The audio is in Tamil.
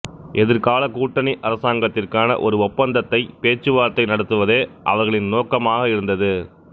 எதிர்கால கூட்டணி அரசாங்கத்திற்கான ஒரு ஒப்பந்தத்தை பேச்சுவார்த்தை நடத்துவதே அவர்களின் நோக்கமாக இருந்தது